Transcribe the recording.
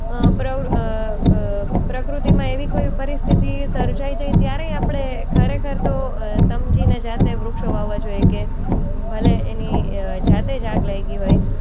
અ પ્ર અ અ પ્રકૃતિમાં એવી કોઈ પરિસ્થિતિ સર્જાય જાય ત્યારે આપણે ખરેખર તો અ સમજીને જાતે વૃક્ષો વાવવા જોઈએ કે ભલે એની અ જાતે જ આગ લાગી હોય.